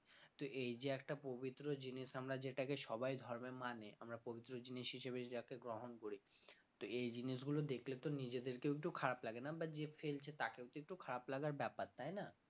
তো এই যে একটা পবিত্র জিনিস আমরা যেটাকে সবাই ধর্মে মানে আমরা পবিত্র জিনিস হিসেবে যাকে গ্রহণ করি তো এই জিনিসগুলো দেখলে তো নিজেদেরকেও একটু খারাপ লাগে না বা যে ফেলছে তাকেও তো একটু খারাপ লাগার ব্যাপার তাই না